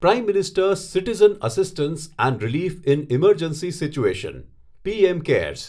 prime ministers citizen assistance and relief in emergency situation PM cares